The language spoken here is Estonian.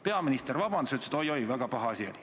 Peaminister palus vabandust ja ütles, et oi-oi, väga paha asi.